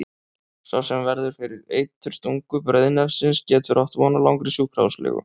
Sá sem verður fyrir eiturstungu breiðnefsins getur átt von á langri sjúkrahúslegu.